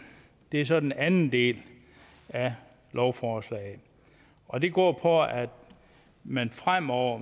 er så den anden del af lovforslaget og det går på at man fremover